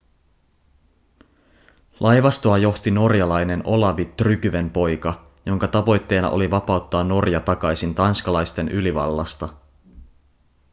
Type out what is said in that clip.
laivastoa johti norjalainen olavi tryggvenpoika jonka tavoitteena oli vapauttaa norja takaisin tanskalaisten ylivallasta